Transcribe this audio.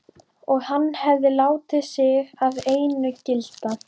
Og hann hefði látið sig það einu gilda.